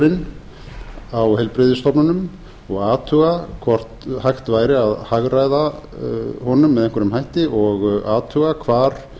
reksturinn á heilbrigðisstofnunum og athuga hvort hægt væri að hagræða honum með einhverjum hætti og athuga hvar